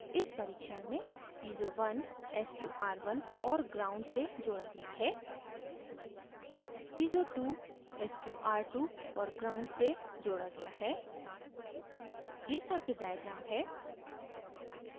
इस परिक्षण में piezo 1 sqr1 और ground gnd से जोड़ा गया है piezo 2 sqr2 और ground gnd से जोड़ा गया है यह circuit diagram है